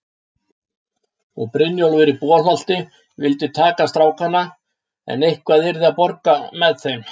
Og Brynjólfur í Bolholti vildi taka strákana, en eitthvað yrði að borga með þeim.